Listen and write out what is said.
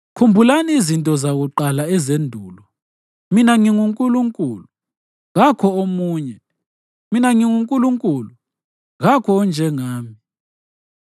Khumbulani izinto zakuqala ezendulo. Mina nginguNkulunkulu, kakho omunye; mina nginguNkulunkulu, kakho onjengami.